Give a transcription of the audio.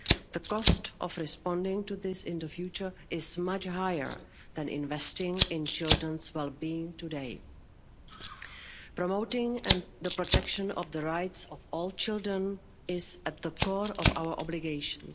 The cost of responding to this in the future is much higher than investing in the wellbeing of children today. Promoting and protecting the rights of all children is at the core of our obligations.